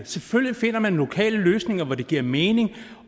selvfølgelig finder man lokale løsninger hvor det giver mening